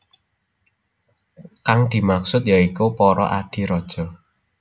Kang dimaksud ya iku para adhi raja